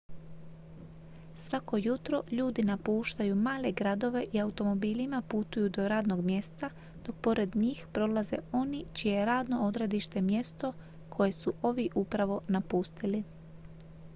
svako jutro ljudi napuštaju male gradove i automobilima putuju do radnog mjesta dok pored njih prolaze oni čije je radno odredište mjesto koje su ovi upravo napustili